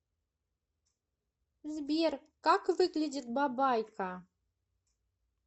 сбер как выглядит бабайка